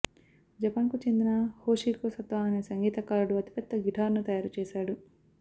జపాన్కు చెందిన Yoshihiko Sato అనే సంగీతకారుడు అతిపెద్ద గిటార్ను తయారుచేశాడు